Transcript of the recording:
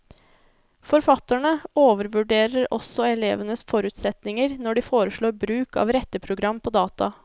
Forfatterne overvurderer også elevenes forutsetninger når de foreslår bruk av retteprogram på data.